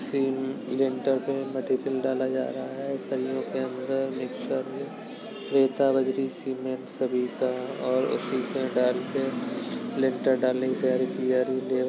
theme lintel पे material डाला जा रहा रहा हैसरियों के अंदर मिक्स्चर रेता बजरी सिमेन्ट सब ईटा और शीशे डालके (डालकर) लिंटर डालने की तैयारी की जा रही है लेवा --